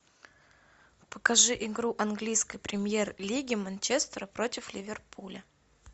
покажи игру английской премьер лиги манчестера против ливерпуля